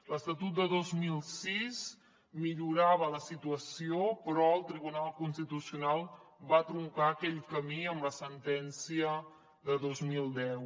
l’estatut de dos mil sis millorava la situació però el tribunal constitucional va truncar aquell camí amb la sentència de dos mil deu